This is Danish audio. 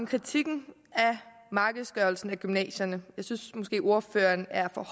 kritikken af markedsgørelsen af gymnasierne jeg synes måske at ordføreren er for